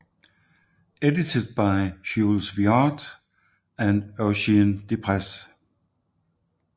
Edited by Jules Viard and Eugène Déprez